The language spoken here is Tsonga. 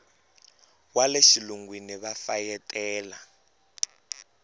wa le xilungwini va fayetela